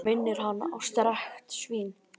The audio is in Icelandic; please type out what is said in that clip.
Hann minnir hana á strekkt svín.